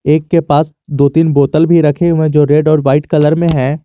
एक के पास दो तीन बोतल भी रखे हुए है जो रेड और वाइट कलर में है।